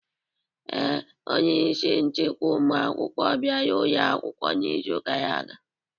Ee, onye isi nchịkwa ụmụ akwụkwọ bịara ụlọ akwụkwọ n'izu gara aga.